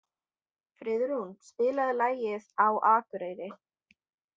Friðrún, spilaðu lagið „Á Akureyri“.